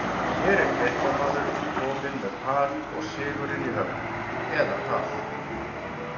Hér er fréttamaður kominn með par og sigurinn í höfn, eða hvað?